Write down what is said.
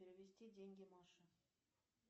перевести деньги маше